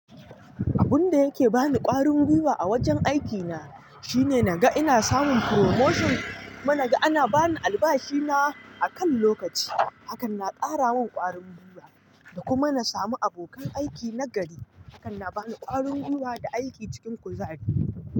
Abun da yake bani ƙwarin gwiwa a wajen aikina shine naga ina samun promotion kuma na ga ana bani albashi na akan lokaci hakan na kara min ƙwarin gwiwa da kuma na samu abokan aiki nagari hakan na bani ƙwarin gwiwa da aiki cikin kuzari.